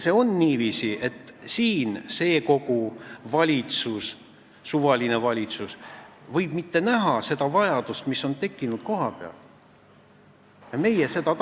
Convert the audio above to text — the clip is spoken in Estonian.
Sellega on niiviisi, et see kogu ja suvaline valitsus ei pruugi näha seda vajadust, mis on kohapeal tekkinud.